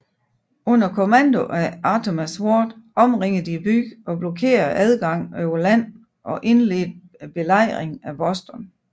Under kommando af Artemas Ward omringede de byen og blokerede adgangen over land og indledte Belejringen af Boston